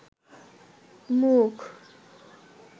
মুখ